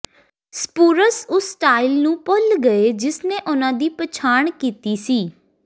ਸਪੁਰਸ ਉਸ ਸਟਾਈਲ ਨੂੰ ਭੁੱਲ ਗਏ ਜਿਸਨੇ ਉਨ੍ਹਾਂ ਦੀ ਪਛਾਣ ਕੀਤੀ ਸੀ